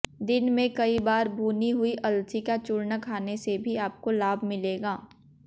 दिन में कई बार भूनी हुई अलसी का चूर्ण खाने से भी आपको लाभ मिलेगा